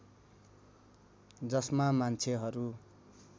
जसमा मान्छेहरू